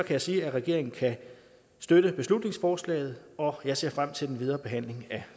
jeg sige at regeringen kan støtte beslutningsforslaget og jeg ser frem til den videre behandling af